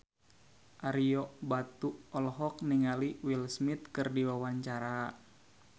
Ario Batu olohok ningali Will Smith keur diwawancara